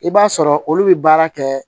I b'a sɔrɔ olu bɛ baara kɛ